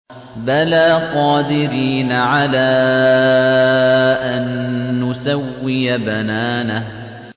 بَلَىٰ قَادِرِينَ عَلَىٰ أَن نُّسَوِّيَ بَنَانَهُ